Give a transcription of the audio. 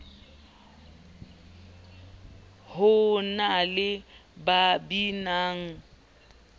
ho na le ba binang